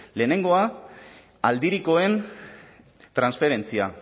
lehenengoa aldirikoen transferentzia